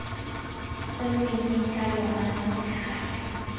gone mme nka lora motshegare